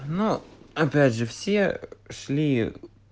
но опять же все ушли